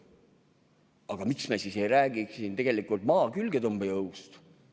Aga miks me siis ei räägi siin Maa külgetõmbejõust?